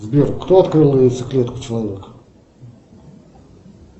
сбер кто открыл яйцеклетку человека